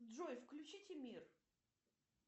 джой включите мир